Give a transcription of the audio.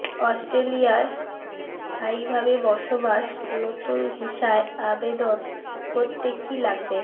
অস্ট্রেলিয়ায় স্থায়ীভাবে বসবাস নতুন ভিসায় আবেদন করতে কী লাগবে